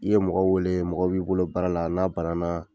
I ye mɔgɔ wele mɔgɔ b'i bolo baara la n'a bana na.